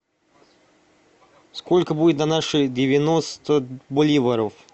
сколько будет на наши девяносто боливаров